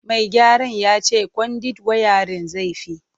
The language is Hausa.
Mai gyaran ya ce kwandit wayarin zai fi.